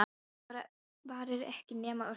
En þetta varir ekki nema örskamma stund.